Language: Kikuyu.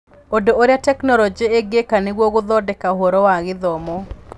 ũndũ ũrĩa Tekinoronjĩ ĩngĩka nĩguo gũthondeka ũhoro wa gĩthomo.